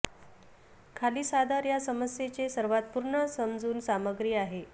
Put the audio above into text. खाली सादर या समस्येचे सर्वात पूर्ण समजून सामग्री आहे